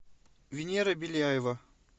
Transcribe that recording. венера беляева